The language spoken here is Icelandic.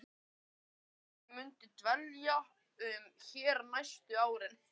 Þóra Kristín: Muntu dvelja hér næstu árin?